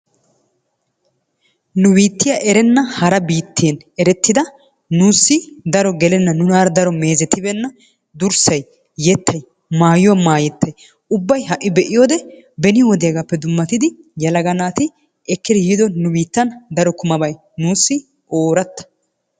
Nu bittiya erenna hara bitten erettidas nusi gelena nunara daro mezettibenna durssay, yettay, mayuwa mayetay ubay hai beiyowode beni wodiyagappe dumattidi yelaga natti ekedi yido bay nusi oryta.